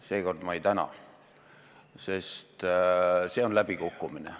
Seekord ma ei täna, sest see on läbikukkumine.